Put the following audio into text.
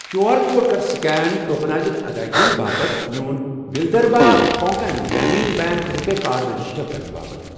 Q R code کَر scan tokenised ادٲیگین باپتھ میون Vidarbha Konkan Gramin bank RuPay card register کرنہٕ باپتھ۔